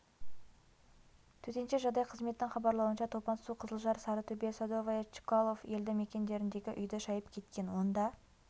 төтенше жағдай қызметінің хабарлауынша топан су қызылжар сарытөбе садовое чкалов елді мекендеріндегі үйді шайып кеткен онда